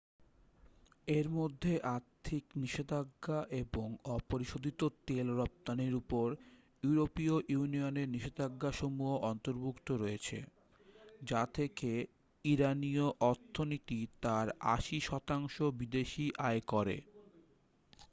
এর মধ্যে আর্থিক নিষেধাজ্ঞা এবং অপরিশোধিত তেল রফতানির উপর ইউরোপীয় ইউনিয়নের নিষেধাজ্ঞাসমূহ অন্তর্ভুক্ত রয়েছে যা থেকে ইরানিয় অর্থনীতি তার 80% বিদেশী আয় করে